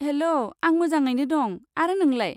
हेल', आं मोजाङैनो दं, आरो नोंलाय?